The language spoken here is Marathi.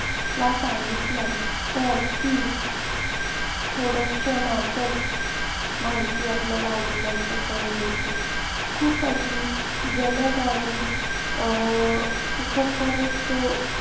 ला सांगितलं तर ती थोड्या क्षणांतच माहिती आपल्याला उपलब्ध करून देते. खूप अशी जलद आणि अं सुखकर सो